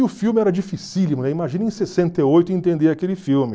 E o filme era dificílimo, imagina em sessenta e oito entender aquele filme.